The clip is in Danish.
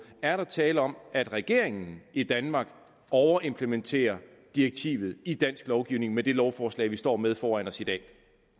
er tale om at regeringen i danmark overimplementerer direktivet i dansk lovgivning med det lovforslag vi står med foran os i dag